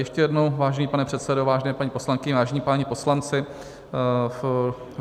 Ještě jednou, vážený pane předsedo, vážené paní poslankyně, vážení páni poslanci.